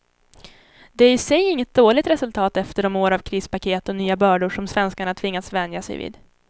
Det är i sig inget dåligt resultat efter de år av krispaket och nya bördor som svenskarna tvingats vänja sig vid.